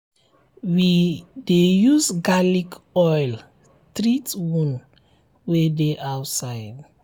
we dey use garlic oil treat wound wey dey outside.